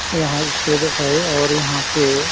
यहाँ स्टेज है और यहाँ पे --